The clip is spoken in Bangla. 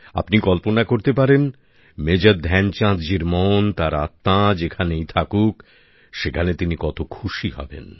আপনি কল্পনা করতে পারেন মেজর ধ্যানচাঁদজির মন তাঁর আত্মা যেখানেই থাকুক সেখানে তিনি কত খুশি হবেন